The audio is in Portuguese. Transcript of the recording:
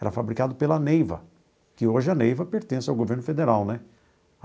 Era fabricado pela Neiva, que hoje a Neiva pertence ao governo federal, né?